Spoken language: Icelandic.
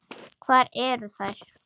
Hvar eru þær?